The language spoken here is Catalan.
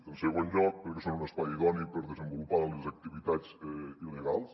en segon lloc perquè són un espai idoni per desenvolupar les activitats il·legals